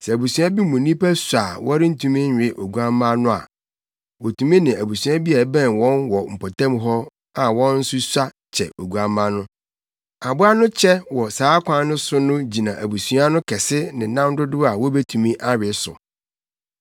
Sɛ abusua bi mu nnipa sua a wɔrentumi nwe oguamma no a, wotumi ne abusua bi a ɛbɛn wɔn wɔ mpɔtam hɔ a wɔn nso sua kyɛ oguamma no. Aboa no kyɛ wɔ saa kwan no so no gyina abusua no kɛse ne nam dodow a wobetumi awe so.